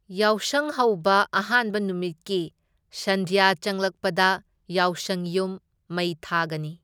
ꯌꯥꯎꯁꯪ ꯍꯧꯕ ꯑꯍꯥꯟꯕ ꯅꯨꯃꯤꯠꯀꯤ ꯁꯟꯗ꯭ꯌꯥ ꯆꯪꯂꯛꯄꯗ ꯌꯥꯎꯁꯪ ꯌꯨꯝ ꯃꯩ ꯊꯥꯒꯅꯤ꯫